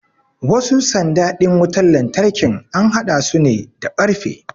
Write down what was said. wasu sanda din wutar lantarkin an haɗa su ne da karfe